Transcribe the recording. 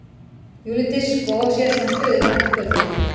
Júlli Diskó sér svo um stuðið fram eftir kvöldinu.